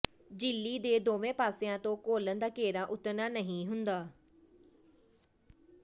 ਝਿੱਲੀ ਦੇ ਦੋਵੇਂ ਪਾਸਿਆਂ ਤੇ ਘੋਲਨ ਦਾ ਘੇਰਾ ਉਤਰਨਾ ਨਹੀਂ ਹੁੰਦਾ